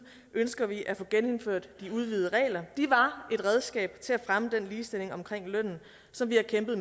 ønsker vi at få genindført de udvidede regler de var et redskab til at fremme den ligestilling omkring lønnen som vi har kæmpet